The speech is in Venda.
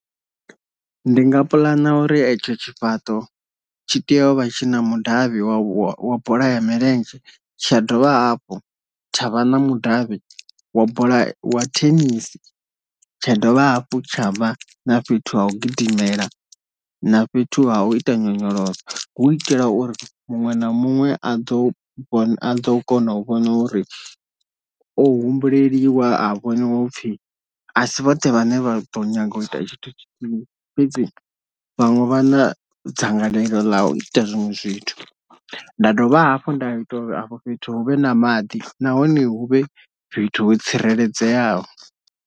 Ndi nga puḽana uri etsho tshifhaṱo tshi tea u vha tshi na mudavhi wa wa bola ya milenzhe, tsha dovha hafhu tsha vha na mudavhi wa bola wa thenisi, tsha dovha hafhu tshavha na fhethu ha u gidimela na fhethu ha u ita nyonyoloso, hu itela uri muṅwe na muṅwe a ḓo a ḓo kona u vhona uri o humbuleliwa ha vhoniwa upfhi asi vhoṱhe vhane vha ḓo nyanga u ita tshithu tshithihi, fhedzi vhaṅwe vha na dzangalelo ḽa u ita zwiṅwe zwithu, nda dovha hafhu nda ita uri afho fhethu hu vhe na maḓi nahone hu vhe fhethu ho tsireledzeaho.